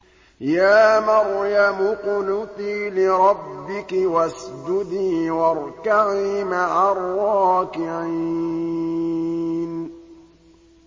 يَا مَرْيَمُ اقْنُتِي لِرَبِّكِ وَاسْجُدِي وَارْكَعِي مَعَ الرَّاكِعِينَ